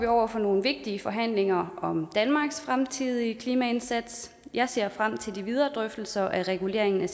over for nogle vigtige forhandlinger om danmarks fremtidige klimaindsats jeg ser frem til de videre drøftelser af reguleringen